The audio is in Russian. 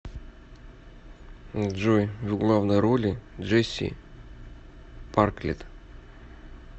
джой в главной роли джеси парклет